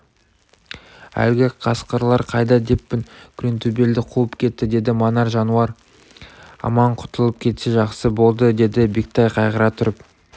әлгі қасқырлар қайда деппін күреңтөбелді қуып кетті деді манар жануар аман құтылып кетсе жақсы болды деді бектай қайғыра тұрып